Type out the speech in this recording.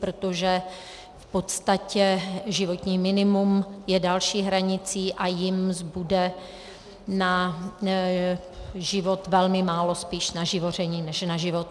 Protože v podstatě životní minimum je další hranicí a jim zbude na život velmi málo, spíš na živoření než na život.